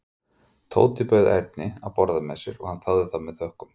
Tóti bauð Erni að borða með sér og hann þáði það með þökkum.